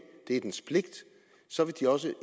det er dens pligt så vil de også